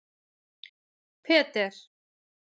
Peter